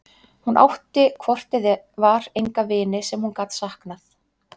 Hún átti hvort eð var enga vini sem hún gat saknað.